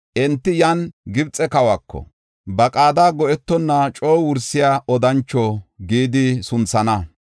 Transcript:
Enti yan Gibxe kawako, “Ba qaada go7etonna coo wursiya odancho” gidi sunthana.